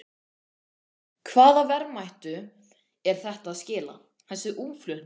Sigríður Elva: Hvaða verðmætum er þetta að skila, þessi útflutningur?